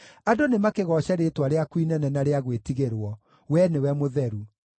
Andũ nĩmakĩgooce rĩĩtwa rĩaku inene na rĩa gwĩtigĩrwo: we nĩwe mũtheru.